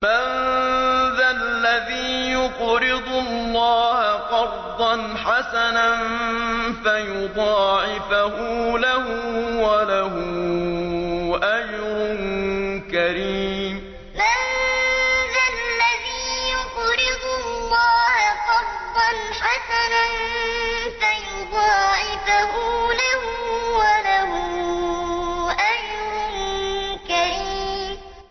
مَّن ذَا الَّذِي يُقْرِضُ اللَّهَ قَرْضًا حَسَنًا فَيُضَاعِفَهُ لَهُ وَلَهُ أَجْرٌ كَرِيمٌ مَّن ذَا الَّذِي يُقْرِضُ اللَّهَ قَرْضًا حَسَنًا فَيُضَاعِفَهُ لَهُ وَلَهُ أَجْرٌ كَرِيمٌ